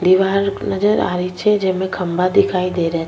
दिवार नजर आरी छे जेमे खम्भा दिखाई दे र --